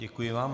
Děkuji vám.